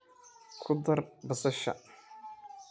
Kudaar basasha.